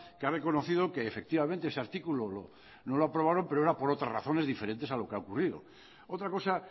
que ha reconocido que efectivamente ese artículo no lo aprobaron pero era por otras razones diferentes a lo que ha ocurrido otra cosa